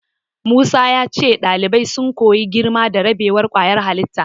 Musa ya ce ɗalibai sun koyi girma da rabewar ƙwayar halitta.